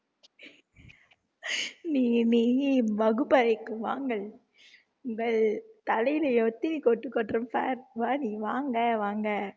நீ நீ வகுப்பறைக்கு வாங்கள் உங்கள் தலையிலே எத்தனை கொட்டு கொட்டுறேன் பார் வா நீ வாங்க வாங்க